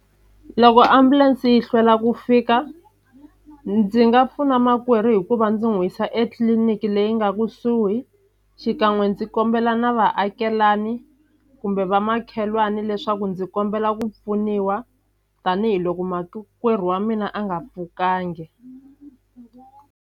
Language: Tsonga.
Loko ambulense yi hlwela ku fika ndzi nga pfuna makwerhu hikuva ndzi n'wi yisa etliliniki leyi nga kusuhi xikan'we ndzi kombela na vaakelani kumbe vamakhelwani leswaku ndzi kombela ku pfuniwa tanihiloko makwerhu wa mina a nga pfukangi.